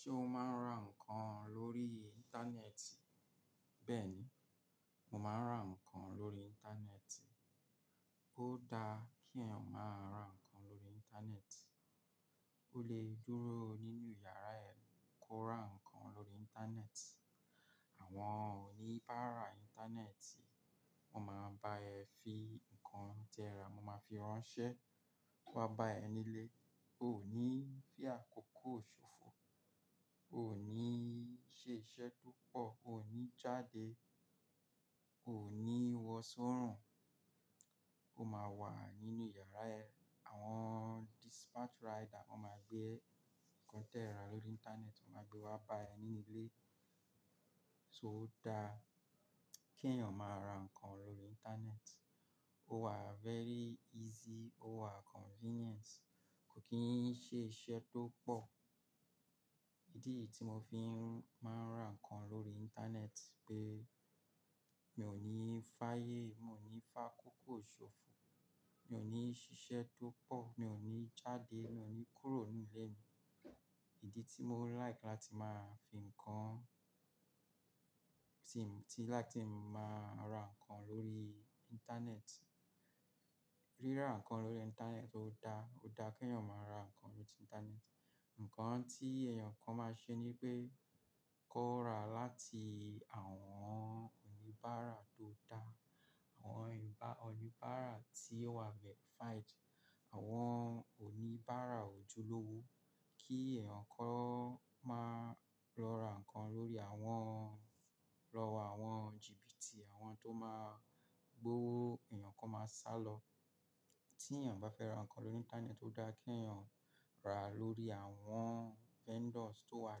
Ṣé o máa ń ra ǹkan lórí Íńtánẹ́ẹ̀tì? Bẹ́ẹ̀ni, mo máa ń ra ǹkan lórí Íńtánẹ́ẹ̀tì. Ó da kí ẹ̀yàn máa ra ǹkan lórí Íńtánẹ́ẹ̀tì. Ó lè dúró nínú yàrá rẹ̀ kó ra ǹkan lórí Íńtánẹ́ẹ̀tì. Àwọn oníbàárà Íńtánẹ́ẹ̀tì, mo máa bá ẹ fi ǹkan tí ẹ ra, mo máa fi ránṣẹ́, wá bá ẹ nílé. O ò ní fí àkókò ṣòfò, ò ní ṣiṣẹ́ tó pọ̀, ò ní jáde, ò ní wọ sọ́rùn. O máa wà nínú yàrá ẹ. Àwọn dispatch rider wọ́n máa gbé ǹkan tí ẹ ra lórí Íńtánẹ́ẹ̀tì, wọ́n máa gbé wá bá ẹ nílé. So dá kí ẹ̀yàn máa ra ǹkan lórí Íńtánẹ́ẹ̀tì. Ó wa very easy, ó wa convenient. Kò kín ṣe iṣẹ́ tó pọ̀. Ìdí tí mo fi máa ń ra ǹkan lórí Íńtánẹ́ẹ̀tì pé mi ò ní fáyé, mo ní fà á kókó ṣòfò, mi ò ní ṣiṣẹ́ tó pọ̀, mi ò ní jáde, mi ò ní kúrò nínú ilé Ìdí tí mo like láti máa fi ǹkan-- tí láti máa ra ǹkan lórí Íńtánẹ́ẹ̀tì. Ríra ǹkan lórí Íńtánẹ́ẹ̀tì ó da. Ó da kí ẹ̀yàn máa ra ǹkan lórí Íńtánẹ́ẹ̀tì. Ǹkan tí ẹ̀yàn kan máa ṣe ní pé kó ra láti àwọn oníbàárà tó dáa. Àwọn oníbàárà tí o wà verified. Àwọn oníbàárà ojúlówó. Kí ẹ̀yàn kó máa lọ ra ǹkan lórí àwọn-- lọ wá àwọn gíbi tí wọn máa gbówó ẹ̀yàn kan máa sálọ. Tí ẹ̀yàn bá fẹ́ ra ǹkan lórí Íńtánẹ́ẹ̀tì tó dáa kí ẹ̀yàn rà lórí àwọn vendors tó wà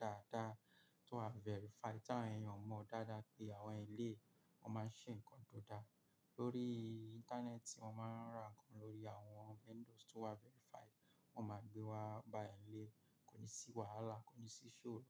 dáadáa, tó wà verified, tí àwọn ẹ̀yàn mọ̀ dáadáa pé àwọn ilé wọ́n máa ṣe ǹkan tó dá. Lórí Íńtánẹ́ẹ̀tì, wọ́n máa ń ra ǹkan lórí àwọn vendors tó wà verified. Wọn máa gbé wá bá ẹ nílé. Kò ní sí wàhálà, kò ní sí iṣóro.